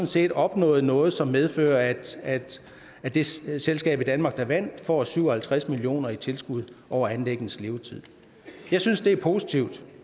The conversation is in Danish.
set opnåede noget som medfører at at det selskab i danmark der vandt får syv og halvtreds million kroner i tilskud over anlæggenes levetid jeg synes det er positivt